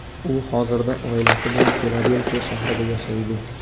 U hozirda oilasi bilan Filadelfiya shahrida yashaydi.